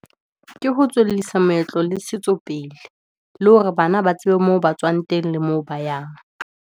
Ke ho tswellisa moetlo le setso pele, le hore bana ba tsebe moo batswang teng, le moo ba yang.